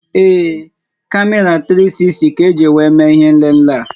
Ee, kamera 360 ka-eji wéé mee ihé nlélé a